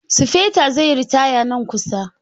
Sufeto zai yi ritaya nan kusa.